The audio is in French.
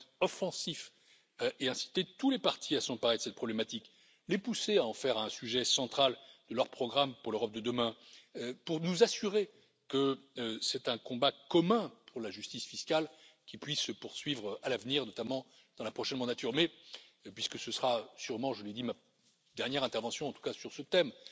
Ils vont être offensifs et inciter tous les partis à s'emparer de cette problématique, les pousser à en faire un sujet central de leur programme pour l'Europe de demain, pour nous assurer que c'est un combat commun pour la justice fiscale qui puisse se poursuivre à l'avenir, notamment dans la prochaine mandature. Mais, puisque ce sera sûrement je le dis ma dernière intervention, en tout cas sur ce